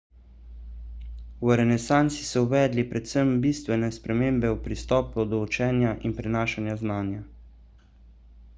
v renesansi so uvedli predvsem bistvene spremembe v pristopu do učenja in prenašanju znanja